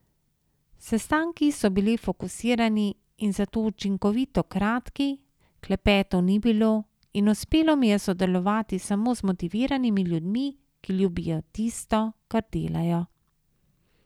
Sestanki so bili fokusirani in zato učinkovito kratki, klepetov ni bilo in uspelo mi je sodelovati samo z motiviranimi ljudmi, ki ljubijo tisto, kar delajo.